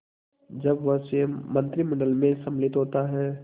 जब वह स्वयं मंत्रिमंडल में सम्मिलित होता है